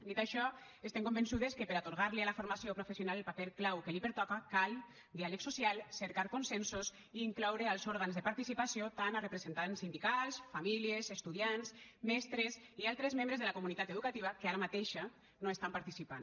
dit això estem convençudes que per a atorgar li a la formació professional el paper clau que li pertoca cal diàleg social cercar consensos i incloure als òrgans de participació tant representants sindicals famílies estudiants mestres i altres membres de la comunitat educativa que ara mateix no hi estan participant